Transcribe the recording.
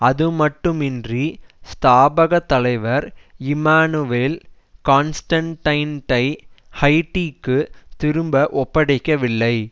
அதுமட்டுமின்றி ஸ்தாபக தலைவர் இம்மானுவேல் கான்ஸ்டன்டைன்டை ஹைட்டிக்கு திரும்ப ஒப்படைக்கவில்லை